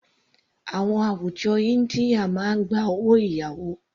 Àwọn àwùjọ India máa gba owó ìyàwó.